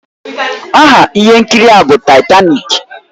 Aha ihe nkiri a bụ Taitanik